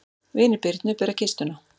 Vinir Birnu bera kistuna.